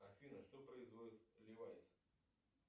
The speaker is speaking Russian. афина что производит левайс